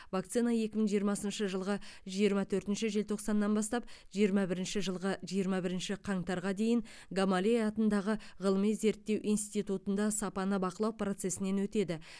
вакцина екі мың жиырмасыншы жылғы жиырма төртінші желтоқсаннан бастап жиырма бірінші жылғы жиырма бірінші қаңтарға дейін гамалей атындағы ғылыми зерттеу институтында сапаны бақылау процесінен өтеді